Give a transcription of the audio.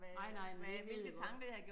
Nej nej men det ved jeg godt